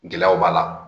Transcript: Gɛlɛyaw b'a la